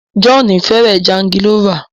John fẹràn jangilófa.